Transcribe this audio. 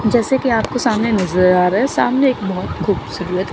जैसे कि आपको सामने नजर आ रहा है सामने एक बहोत खूबसूरत--